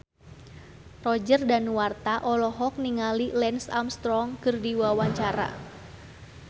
Roger Danuarta olohok ningali Lance Armstrong keur diwawancara